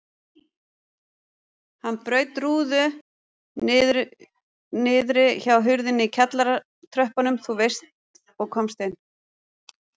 Hann braut rúðu niðri hjá hurðinni í kjallaratröppunum þú veist og komst inn.